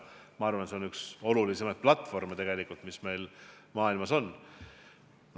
See on üks olulisimaid platvorme, mis meil maailmas on.